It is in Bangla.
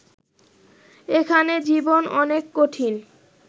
এখানে জীবন অনেক কঠিন